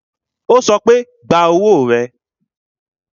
Ó sọ pé, gba owó rẹ